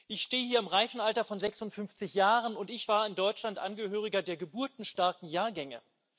Ich stehe hier im reifen Alter von 56 Jahren, und ich war in Deutschland Angehöriger der geburtenstarken Jahrgänge.